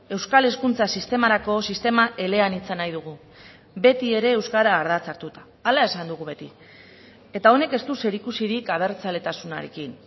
euskal hezkuntza sistemarako sistema eleanitza nahi dugu beti ere euskara ardatz hartuta hala esan dugu beti eta honek ez du zerikusirik abertzaletasunarekin